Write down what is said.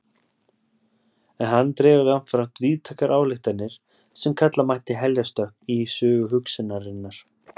En hann dregur jafnframt víðtækar ályktanir sem kalla mætti heljarstökk í sögu hugsunarinnar.